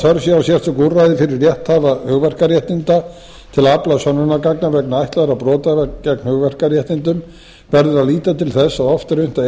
sé á sérstöku úrræði fyrir rétthafa hugverkaréttinda til að afla sönnunargagna vegna ætlaðra brota gegn hugverkaréttindum verður að líta til þess að oft er unnt að